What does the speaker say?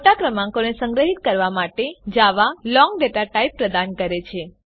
મોટા ક્રમાંકોને સંગ્રહીત કરવા માટે જાવા લોંગ ડેટા ટાઇપ પ્રદાન કરે છે